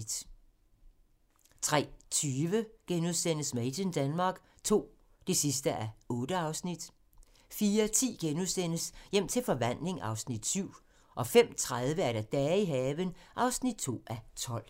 03:20: Made in Denmark II (8:8)* 04:10: Hjem til forvandling (Afs. 7)* 05:30: Dage i haven (2:12)